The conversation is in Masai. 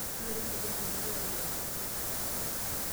Noto empijan tinirorie lomon.